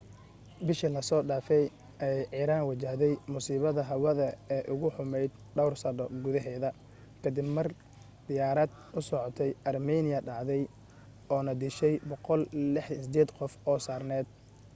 bisha lasoo dhaafay ayay iran wajahday musiibada hawada ee ugu xumayd dhawr sana gudaheeda ka dib mar diyaarad u socotay armenia dhacday oo na dishay 168 qof oo saarneed